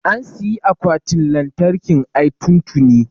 an siyi akwatin lantarkin ai tun tini